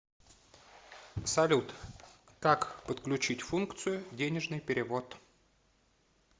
салют как подключить функцию денежный перевод